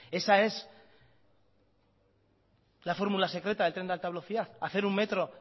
esa es la fórmula secreta del tren de alta velocidad hacer un metro